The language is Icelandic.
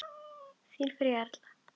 Þín Fanney Erla.